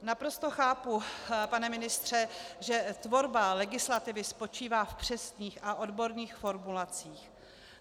Naprosto chápu, pane ministře, že tvorba legislativy spočívá v přesných a odborných formulacích.